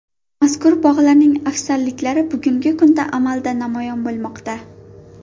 Mazkur bog‘larning afzalliklari bugungi kunda amalda namoyon bo‘lmoqda.